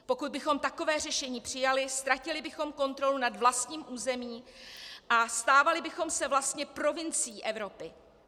Pokud bychom takové řešení přijali, ztratili bychom kontrolu nad vlastním územím a stávali bychom se vlastně provincií Evropy.